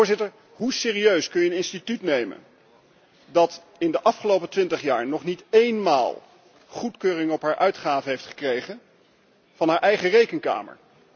Immers, hoe serieus kun je een instelling nemen die in de afgelopen twintig jaar nog niet eenmaal goedkeuring van haar uitgaven heeft gekregen van haar eigen Rekenkamer?